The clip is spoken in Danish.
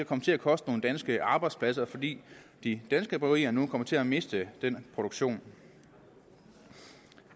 komme til at koste nogle danske arbejdspladser fordi de danske bryggerier nu kommer til at miste den produktion